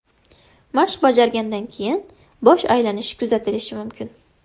Mashq bajargandan keyin bosh aylanishi kuzatilishi mumkin.